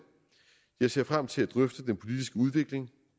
jeg ser frem til at drøfte den politiske udvikling